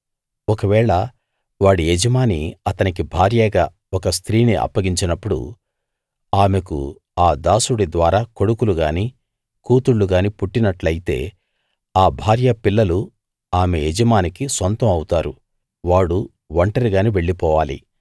ఒకవేళ వాడి యజమాని అతనికి భార్యగా ఒక స్త్రీని అప్పగించినప్పుడు ఆమెకు ఆ దాసుడి ద్వారా కొడుకులు గానీ కూతుళ్ళు గానీ పుట్టినట్టయితే ఆ భార్య పిల్లలు ఆమె యజమానికి సొంతం అవుతారు వాడు ఒంటరిగానే వెళ్లిపోవాలి